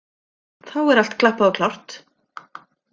Þá er allt klappað og klárt.